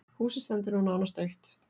Húsið stendur nú nánast autt.